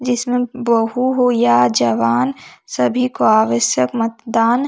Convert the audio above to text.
जिसमे बहु हो या जवान सभी को आवश्यक मतदान --